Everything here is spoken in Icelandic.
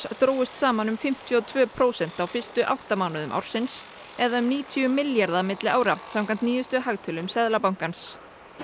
drógust saman um fimmtíu og tvö prósent á fyrstu átta mánuðum ársins eða um níutíu milljarða milli ára samkvæmt nýjustu hagtölum Seðlabankans